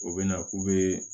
U bɛ na k'u bɛ